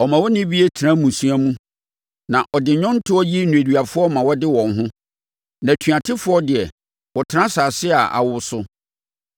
Ɔma onnibie tena mmusua mu, na ɔde nnwontoɔ yi nneduafoɔ ma wɔde wɔn ho; na atuatefoɔ deɛ, wɔtena asase a awo so.